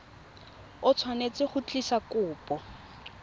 o tshwanetse go tlisa kopo